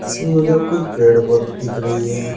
इसमें मुझे कुछ पेड़ पौधे दिख रही है।